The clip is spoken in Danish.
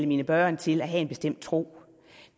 mine børn til at have en bestemt tro